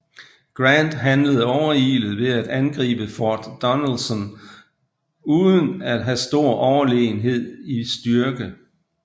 Grant handlede overilet ved at angribe Fort Donelson uden at have stor overlegenhed i styrke